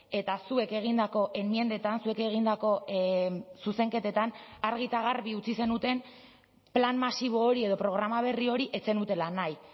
eta zuek egindako enmiendetan zuek egindako zuzenketetan argi eta garbi utzi zenuten plan masibo hori edo programa berri hori ez zenutela nahi